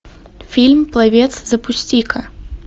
фильм пловец запусти ка